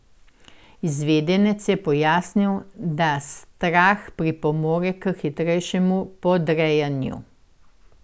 Izvedenec je pojasnil, da strah pripomore k hitrejšemu podrejanju.